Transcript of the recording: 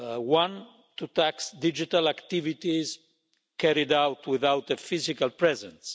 One to tax digital activities, carried out without a physical presence.